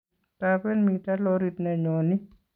Taben mito lorit ne nyoni